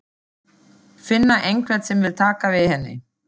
Finna einhvern sem vill taka við henni.